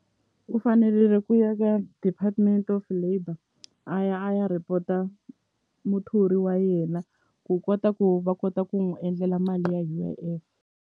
U fanelele ku ya ka department of labour a ya a ya report-a muthori wa yena ku kota ku va kota ku n'wi endlela mali ya U_I_F.